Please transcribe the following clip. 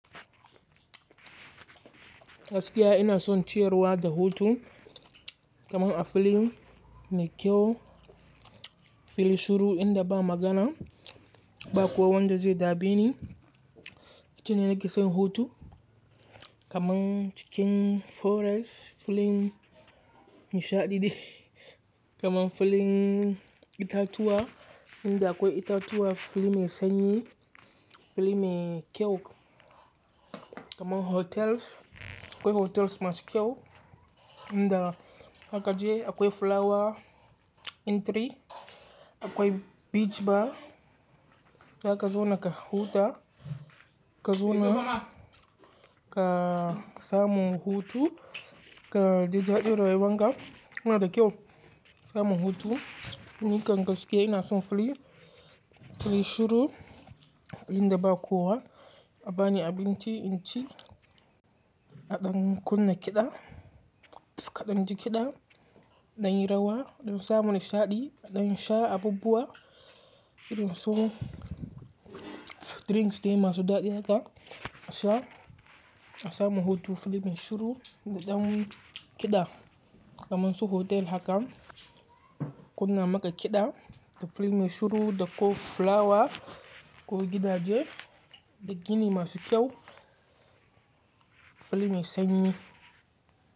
Gaskiya ina son ciyarwa da hutu, kamar a filin me kyau, filin shuru inda ba magana, ba kowa wanda zai dameni Itane nake son hutu, kamar cikin forest, filin nishaɗi kamar filin itatuwa inda akwai itatuwa, filin mai sanyi, filin mai kyau kamar hotels, akwai hotels masu kyau inda haka je akwai flower entry, akwai beach bar zaka zona ka huta, ka zona ka samu hutu, ka je daɗin rayuwan ka yana da kyau, samu hutu. Ni kan gaskiya ina son fili, fili shuru inda ba kowa a bani abinci, inci, aɗan kunna kiɗa, kaɗan ji kiɗa, ɗan yi rawa, ɗan samu nishaɗi, ɗan sha abubuwa, ɗan so drinks dai masu daɗi haka. Sha, a samu hutu filin shuru, ɗan kiɗa kamar su hotel hakan kunna maka kiɗa da filin shuru da ko flower ko gidaje da gini masu kyau, filin mai sanyi.